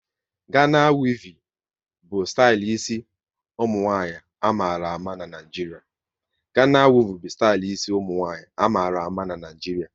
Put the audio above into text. Gana wevin bụ stali ịsi ụmụnwanyị a mara ama n'Naijiria